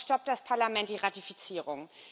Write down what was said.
Daraufhin stoppt das Parlament die Ratifizierung.